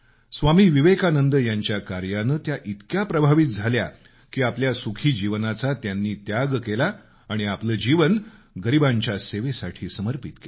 स्वामी विवेकानंद यांच्या काऱ्यानं त्या इतक्या प्रभावित झाल्या की आपल्या सुखी जीवनाचा त्याग केला आणि आपलं जीवन गरिबांच्या सेवेसाठी समर्पित केलं